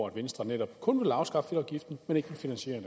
at venstre netop kun vil afskaffe fedtafgiften men ikke vil finansiere